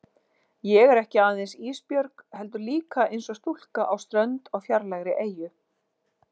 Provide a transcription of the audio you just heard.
Ég er ekki aðeins Ísbjörg heldur líka einsog stúlka á strönd á fjarlægri eyju.